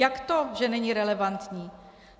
Jak to, že není relevantní?